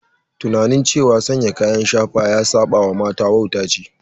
Tunanin cewa sanya kayan shafa ya saba wa mata wauta ce.